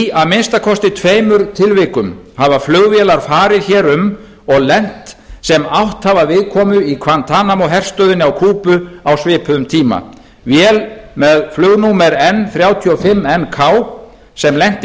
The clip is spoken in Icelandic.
í að minnsta kosti tveimur tilvikum hafa flugvélar farið hér um og lent sem átt hafa viðkomu í guantanamo herstöðinni á kúbu á svipuðum tíma vél með flugnúmer n þrjátíu og fimm n k sem lenti